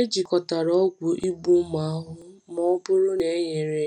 Ejikọtala ọgwụ igbu ụmụ ahụhụ ma ọ bụrụ na e nyere nyere